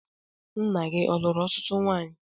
Nna gị ọ luru ọtụtụ nwanyị?